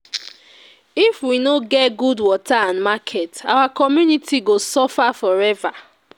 If we no get good water and market, our community go suffer for ever.